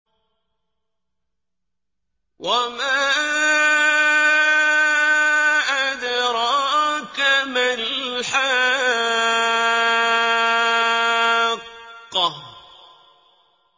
وَمَا أَدْرَاكَ مَا الْحَاقَّةُ